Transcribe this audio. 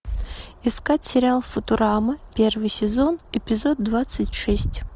искать сериал футурама первый сезон эпизод двадцать шесть